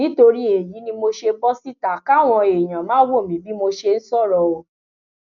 nítorí èyí ni mo ṣe ń bọ síta káwọn èèyàn máa wò mí bí mo ṣe ń sọrọ o